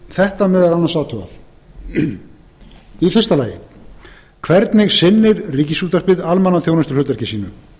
þetta meðal annars athugað fyrstu hvernig sinnir ríkisútvarpið almannaþjónustuhlutverki sínu